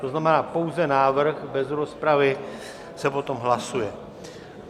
To znamená pouze návrh, bez rozpravy se potom hlasuje.